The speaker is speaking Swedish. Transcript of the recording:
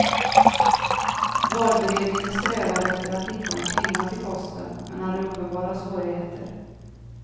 Valberedningen strävade efter att hitta en kvinna till posten, men hade uppenbara svårigheter.